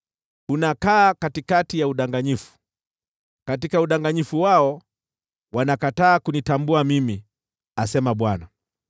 Unakaa katikati ya udanganyifu; katika udanganyifu wao wanakataa kunitambua mimi,” asema Bwana .